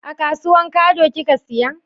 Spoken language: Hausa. A kasuwan kado ki ka siya?